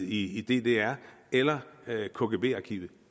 i ddr eller kgb arkivere